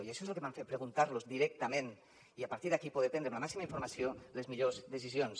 i això és el que em vam fer preguntar los ho directament i a partir d’aquí poder prendre amb la màxima informació les millors decisions